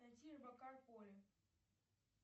найти робокар поли